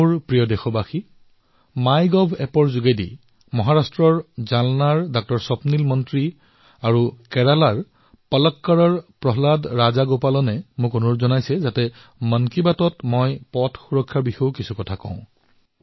মোৰ মৰমৰ দেশবাসীসকল মাই গভত মহাৰাষ্ট্ৰৰ জালনাৰ ডাঃ স্বপ্নীল মন্ত্ৰী আৰু কেৰালাৰ পালক্কৰৰ প্ৰহ্লাদ ৰাজগোপলনে এয়া আগ্ৰহ প্ৰকাশ কৰিছে যে মই মন কী বাতত পথ সুৰক্ষাৰ বিষয়েও যাতে উল্লেখ কৰো